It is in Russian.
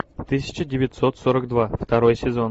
тысяча девятьсот сорок два второй сезон